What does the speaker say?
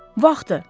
Vaxtıdır!